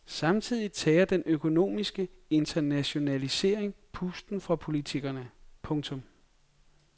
Samtidig tager den økonomiske internationalisering pusten fra politikerne. punktum